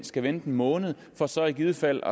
skal vente en måned for så i givet fald